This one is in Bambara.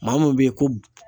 Maa mun bɛ ye ko